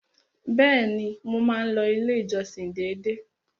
Bẹ́ẹ̀ni, mo máa ń lọ ilé ìjọsìn dédé.